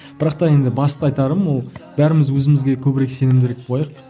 бірақ та енді басты айтарым ол бәріміз өзімізге көбірек сенімдірек болайық